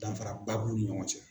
Danfaraba b'u ni ɲɔgɔn cɛ.